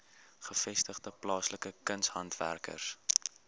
gevestigde plaaslike kunshandwerkers